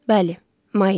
Bəli, may idi.